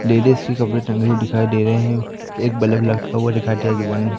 ladies की कपड़े टंगे हुए दिखाई दे रहे हैं एक बल्ब लटका हुआ दिखा दिया दुकान में--